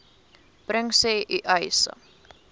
bring sê uys